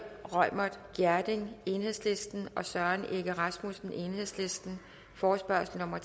reumert gjerding og søren egge rasmussen forespørgsel nummer